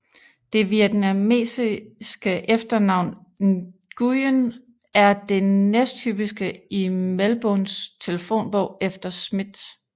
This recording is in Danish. Det vietnamesiske efternavn Nguyen er det næsthyppigste i Melbournes telefonbog efter Smith